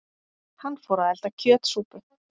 Hann fór að elda kjötsúpu.